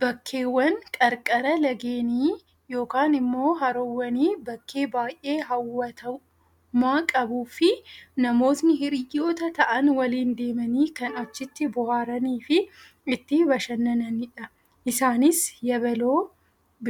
Bakkeewwan qarqara lageenii, yookaan immoo haroowwanii bakkee baayyee hawwattummaa qabuu fi namootni hiriyoota ta'an waliin deemanii kan achitti bohaaranii fi itti bashannanidha. Isaanis yabaloo